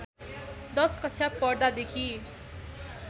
१० कक्षा पढ्दादेखि